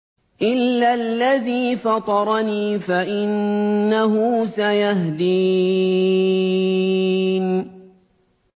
إِلَّا الَّذِي فَطَرَنِي فَإِنَّهُ سَيَهْدِينِ